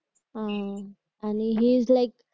आह आणि his like